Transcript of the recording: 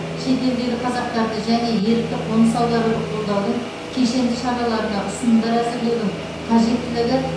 шетелдегі қазақтарды және ерікті қоныс аударуды қолдаудың кешенді шараларына ұсынымдар әзірлеудің қажеттілігі